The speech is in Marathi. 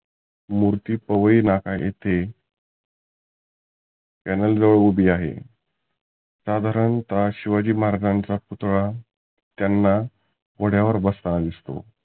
मुर्ती पवई नाका येथे tunnel जवळ उभी आहे. साधारनतः शिवाजी महाराज्यांचा पुतळा त्यांना घोड्यावर बसताना दिसतो.